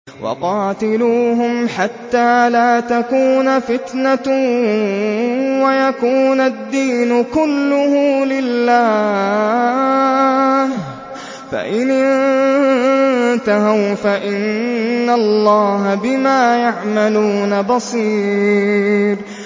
وَقَاتِلُوهُمْ حَتَّىٰ لَا تَكُونَ فِتْنَةٌ وَيَكُونَ الدِّينُ كُلُّهُ لِلَّهِ ۚ فَإِنِ انتَهَوْا فَإِنَّ اللَّهَ بِمَا يَعْمَلُونَ بَصِيرٌ